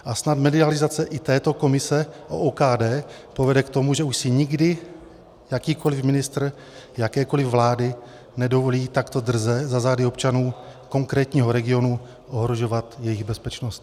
A snad medializace i této komise o OKD povede k tomu, že už si nikdy jakýkoliv ministr jakékoliv vlády nedovolí takto drze za zády občanů konkrétního regionu ohrožovat jejich bezpečnost.